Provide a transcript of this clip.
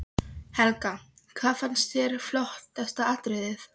Helga: Hvað fannst þér flottasta atriðið?